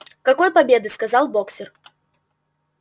какой победы сказал боксёр